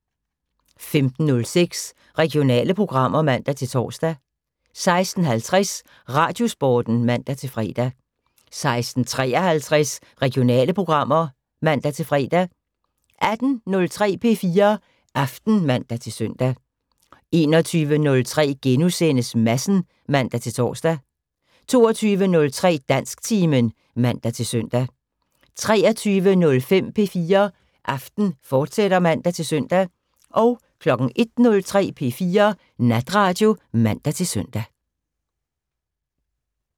15:06: Regionale programmer (man-tor) 16:50: Radiosporten (man-fre) 16:53: Regionale programmer (man-fre) 18:03: P4 Aften (man-søn) 21:03: Madsen *(man-tor) 22:03: Dansktimen (man-søn) 23:05: P4 Aften, fortsat (man-søn) 01:03: P4 Natradio (man-søn)